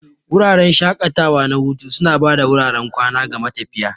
Wuraren shaƙatawa na hutu suna ba da wuraren kwana ga matafiya.